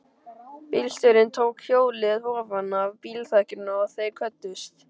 Bílstjórinn tók hjólið ofanaf bílþakinu og þeir kvöddust.